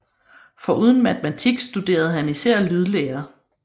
Foruden matematik studerede han især lydlære